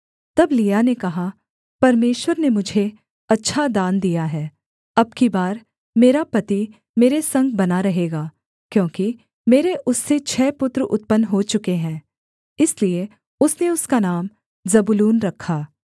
तब लिआ ने कहा परमेश्वर ने मुझे अच्छा दान दिया है अब की बार मेरा पति मेरे संग बना रहेगा क्योंकि मेरे उससे छः पुत्र उत्पन्न हो चुके हैं इसलिए उसने उसका नाम जबूलून रखा